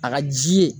A ka ji ye